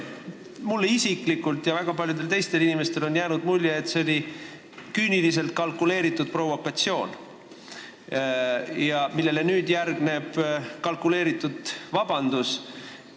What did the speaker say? Mulle isiklikult ja väga paljudele teistele inimestele on jäänud mulje, et see oli küüniliselt kalkuleeritud provokatsioon, millele nüüd järgnes kalkuleeritud vabandus.